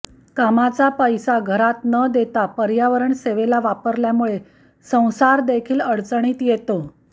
कामाचा पैसा घरात न देता पर्यावरणसेवेला वापरल्यामुळे संसारदेखील अडचणीत येतो